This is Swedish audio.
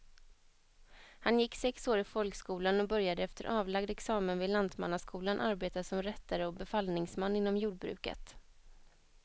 Han gick sex år i folkskolan och började efter avlagd examen vid lantmannaskolan arbeta som rättare och befallningsman inom jordbruket.